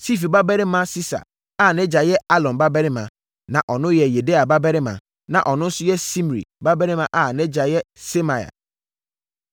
Sifi babarima Sisa a nʼagya yɛ Alon babarima, na ɔno yɛ Yedaia babarima, na ɔno nso yɛ Simri babarima a nʼagya yɛ Semaia.